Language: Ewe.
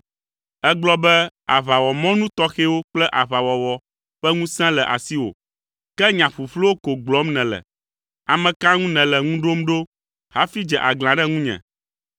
Ègblɔ be, aʋawɔmɔnu tɔxɛwo kple aʋawɔwɔ ƒe ŋusẽ le asiwò, ke nya ƒuƒluwo ko gblɔm nèle. Ame ka ŋu nèle ŋu ɖom ɖo hafi dze aglã ɖe ŋunye?